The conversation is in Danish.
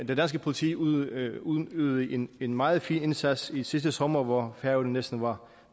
det danske politi udøvede udøvede en en meget fin indsats sidste sommer hvor færøerne næsten var